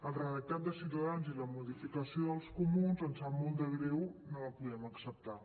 el redactat de ciutadans i la modificació dels comuns ens sap molt de greu no els podem acceptar